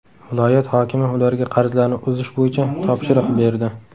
Viloyat hokimi ularga qarzlarni uzish bo‘yicha topshiriq berdi.